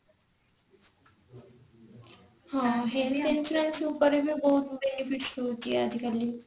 ହଁ health insurance ଉପରେ ବି ବହୁତ benefit ରହୁଛି ଆଜି କାଲି।